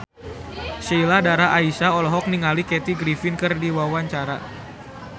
Sheila Dara Aisha olohok ningali Kathy Griffin keur diwawancara